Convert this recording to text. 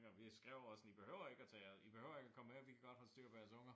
Og vi skrev også sådan i behøver at tage jeres i behøver ikke at komme med vi kan godt holde styr på jeres unger